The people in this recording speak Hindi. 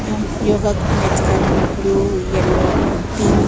योगा मैट का रंग ब्लू येलो पिंक --